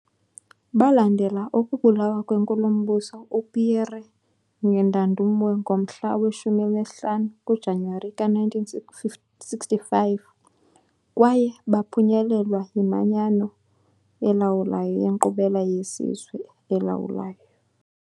Balandela ukubulawa kweNkulumbuso uPierre Ngendandumwe ngomhla we-15 kuJanuwari ka-1965, kwaye baphunyelelwa yiManyano elawulayo yeNkqubela yeSizwe. elawulayo.